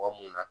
Mɔgɔ mun na